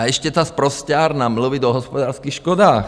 A ještě ta sprosťárna - mluvit o hospodářských škodách.